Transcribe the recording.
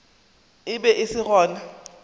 e be e se gona